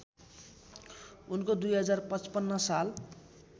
उनको २०५५ साल